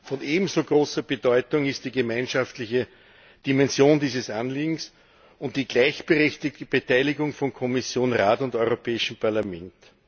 Von ebenso großer Bedeutung ist die gemeinschaftliche Dimension dieses Anliegens die gleichberechtigte Beteiligung von Kommission, Rat und Europäischem Parlament.